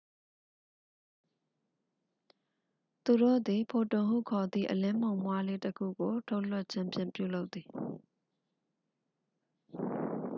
"သူတို့သည် "ဖိုတွန်""ဟုခေါ်သည့် အလင်းမှုန်မွှားလေးတစ်ခုကို ထုတ်လွှတ်ခြင်းဖြင့် ပြုလုပ်သည်။